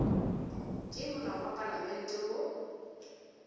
ke molao wa palamente wo